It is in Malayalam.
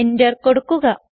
എന്റർ കൊടുക്കുക